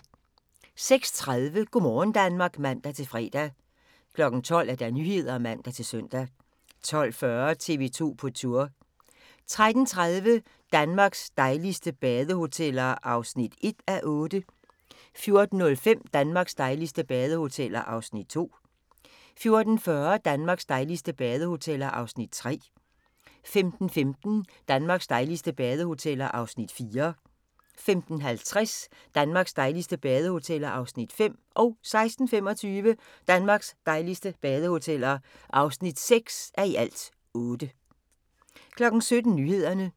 06:30: Go' morgen Danmark (man-fre) 12:00: Nyhederne (man-søn) 12:40: TV 2 på Tour 13:30: Danmarks dejligste badehoteller (1:8) 14:05: Danmarks dejligste badehoteller (2:8) 14:40: Danmarks dejligste badehoteller (3:8) 15:15: Danmarks dejligste badehoteller (4:8) 15:50: Danmarks dejligste badehoteller (5:8) 16:25: Danmarks dejligste badehoteller (6:8) 17:00: Nyhederne